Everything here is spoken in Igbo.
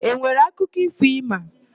E nwere akụkọ ífò ị ma?